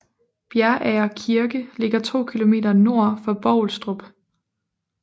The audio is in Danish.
Bjerager Kirke ligger 2 km nord for Bovlstrup